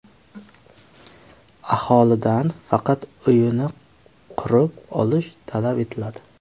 Aholidan faqat uyini qurib olish talab etiladi.